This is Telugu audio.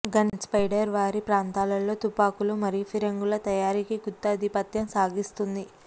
గన్పౌడర్ వారి ప్రాంతాలలో తుపాకులు మరియు ఫిరంగుల తయారీకి గుత్తాధిపత్యం సాగిస్తుంది